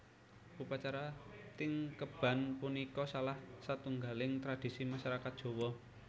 Upacara tingkeban punika salah satunggaling tradisi masarakat Jawa